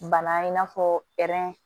Bana in n'a fɔ